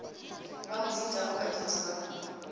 ba mo fetago baditi ba